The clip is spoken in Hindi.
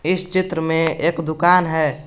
इस चित्र में एक दुकान है।